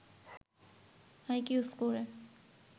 IQ স্কোরে